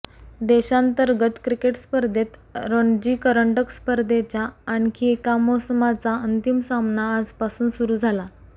देशांतर्गत क्रिकेट स्पर्धेत रणजी कंरडक स्पर्धेच्या आणखी एका मोसमाचा अंतिम सामना आजपासून सुरू झाला